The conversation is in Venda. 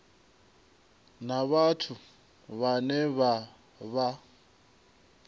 na vhathu vhane vha vha